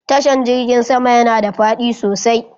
Tashan jirgin sama yana da fadi sosai